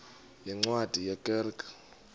yeencwadi ye kerk